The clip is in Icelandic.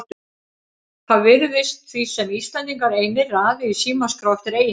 Það virðist því sem Íslendingar einir raði í símaskrá eftir eiginnafni.